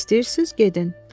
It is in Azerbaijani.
İstəyirsiz, gedin.